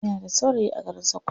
Ina da saurayi a garin sakkwato.